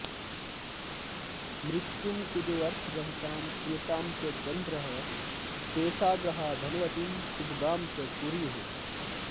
मृत्युं कुजोऽर्थरहितां कुलटां च चन्द्रः शेषा ग्रहा धनवतीं सुभगां च कुर्युः